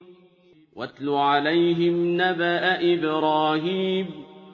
وَاتْلُ عَلَيْهِمْ نَبَأَ إِبْرَاهِيمَ